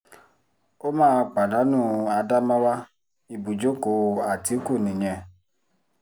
ó máa pàdánù ádámáwá ibùjókòó àtìkù nìyẹn